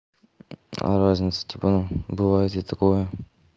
а разница типа ну бывает и такое